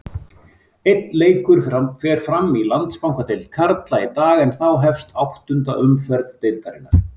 Einn leikur fer fram í Landsbankadeild karla í dag en þá hefst áttunda umferð deildarinnar.